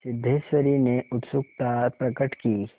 सिद्धेश्वरी ने उत्सुकता प्रकट की